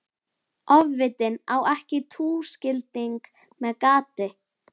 Ofvitinn á ekki túskilding með gati.